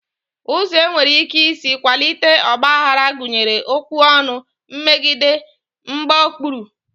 Ụzọ e nwere ike isi kwalite ọgbaghara gụnyere okwu ọnụ, mmegide, mgbaokpuru